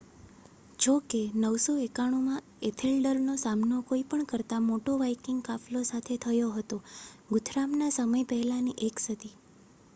જો કે 991 માં એથેલ્ડરનો સામનો કોઈ પણ કરતા મોટો વાઇકિંગ કાફલો સાથે થયો હતો, ગુથરામના સમય પહેલાની એક સદી